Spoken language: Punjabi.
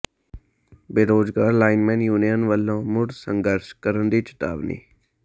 ਬੇਰੁਜ਼ਗਾਰ ਲਾਈਨਮੈਨ ਯੂਨੀਅਨ ਵੱਲੋਂ ਮੁੜ ਸੰਘਰਸ਼ ਕਰਨ ਦੀ ਚਿਤਾਵਨੀ